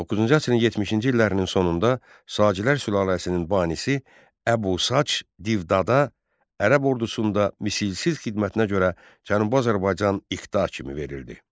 9-cu əsrin 70-ci illərinin sonunda Sacilər sülaləsinin banisi Əbu Sac Divdada Ərəb ordusunda misilsiz xidmətinə görə Cənubi Azərbaycan iqta kimi verildi.